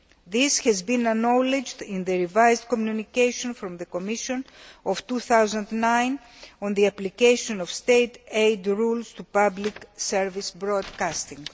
This was acknowledged in the revised communication from the Commission of 2009 on the application of State aid rules to public service broadcasting.